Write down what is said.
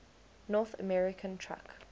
north american truck